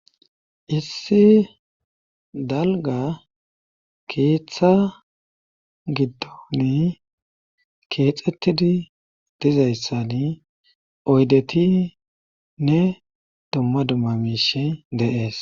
issi dalga keeththa giddoni keexxettidi dizayssani oydeti ne domma dumma miish de'ees